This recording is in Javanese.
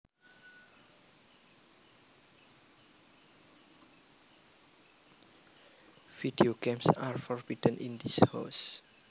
Video games are forbidden in this house